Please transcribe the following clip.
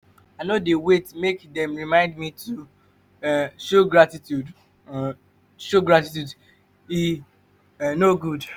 i no dey wait make dem remind me to um show gratitude um show gratitude e um no good.